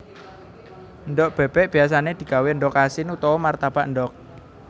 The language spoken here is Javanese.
Endhog bébék biyasané digawé endhog asin utawa martabak endhog